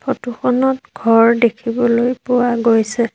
Photo খনত ঘৰ দেখিবলৈ পোৱা গৈছে।